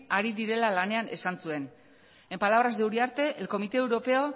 ari direla lanean esan zuen en palabras de uriarte el comité europeo